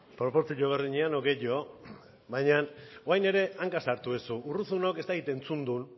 proportzio berdinean edo gehiago baina orain ere hanka sartu duzu urruzunok ez dakit entzun duen